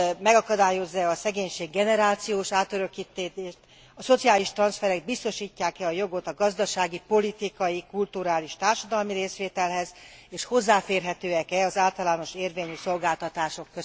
megakadályozza e a szegénység generációs átörökítését, a szociális transzferek biztosítják e a jogot a gazdasági, politikai, kulturális, társadalmi részvételhez és hozzáférhetőek e az általános érvényű szolgáltatások.